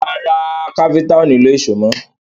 Rárá, káfíntà ó nílò ìṣó mọ́.